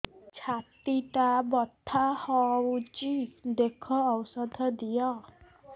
ଛାତି ଟା ବଥା ହଉଚି ଦେଖ ଔଷଧ ଦିଅ